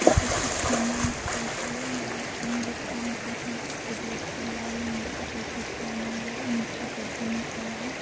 तसवीर एक निर्माण स्थल की है यहाँ तीन लोग काम कर रहे है एक व्यक्ति लाल रंग की टी शर्ट पहने हुए नीचे गद्दे में खड़ा है।